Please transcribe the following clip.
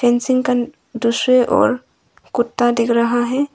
Fencing का दृश्य और कुत्ता दिख रहा है।